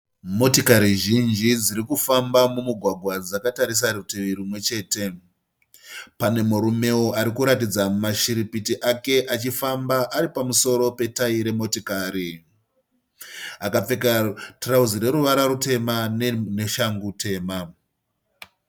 Motikari zhinji dziri kufamba mumugwagwa dzakatarisa rutivi rwumwe chete. Pane murumewo arikuratidza mashiripiti ake achifamba ari pamusoro petayi remotikari, akapfeka tirauzi reruvara rutema neshangu tema.